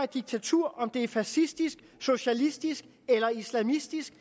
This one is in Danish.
diktatur om det er fascistisk socialistisk eller islamistisk